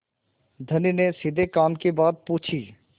धनी ने सीधे काम की बात पूछी